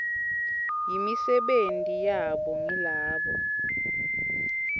yimisebenti yabo ngilabo